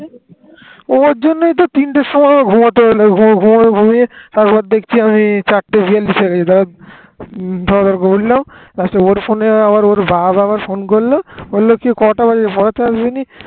ওর জন্যেই তো তিনটের সময় ঘুমোতে গেল ঘুমিয়ে তারপর দেখছি আমি চারটে বিয়াল্লিশ এ এধার তারপর উঠলাম আমার ফোনে ওর বাপ আবার ফোন করল বলল কি কটা বাজে আজ পড়াতে আসবি নি